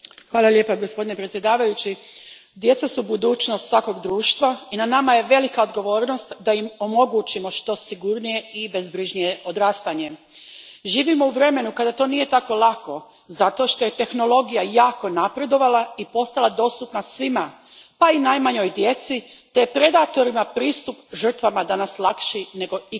Gospodine predsjedniče, djeca su budućnost svakog društva i na nama je velika odgovornost da im omogućimo što sigurnije i bezbrižnije odrastanje. Živimo u vremenu kada to nije tako lako zato što je tehnologija jako napredovala i postala dostupna svima, pa i najmanjoj djeci, te je predatorima pristup žrtvama danas lakši nego ikada.